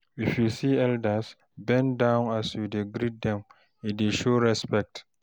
If you see elders, bend down as you dey greet dem e dey show respect.